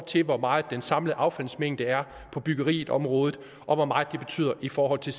til hvor meget den samlede affaldsmængde er på byggeriområdet og hvor meget det betyder i forhold til